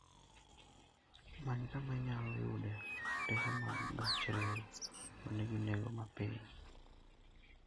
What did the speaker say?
Many kama inyalo yude otese mag gach reru ma nigi nengo mapiny.